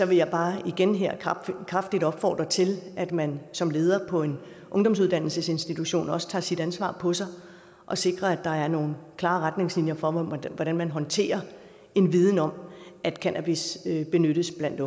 vil jeg bare igen her kraftigt opfordre til at man som leder på en ungdomsuddannelsesinstitution også tager sit ansvar på sig og sikrer at der er nogle klare retningslinjer for hvordan hvordan man håndterer en viden om at cannabis benyttes blandt